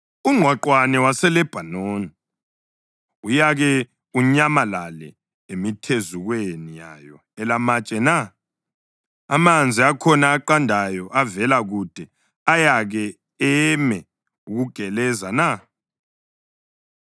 Ungqwaqwane waseLebhanoni uyake unyamalale emithezukweni yayo elamatshe na? Amanzi akhona aqandayo avela kude ayake eme ukugeleza na?